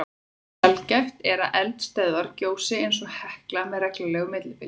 Sjaldgæft er að eldstöðvar gjósi eins og Hekla með reglulegu millibili.